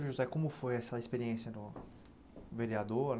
José, como foi essa experiência no vereador?